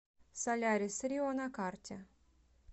солярисрио на карте